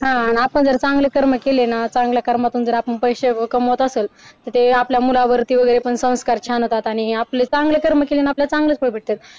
आपण चांगले कर्म केले ना चांगला कर्मातून पैसे कमवत असेल तर त्या आपल्या मुलावर ती पण संस्कार छान होतात आणि हे आपले चांगले कर्म केल्याने आपल्या चांगले फळ भेटते.